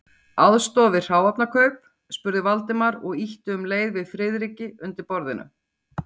Aðstoða við hráefnakaup? spurði Valdimar og ýtti um leið við Friðriki undir borðinu.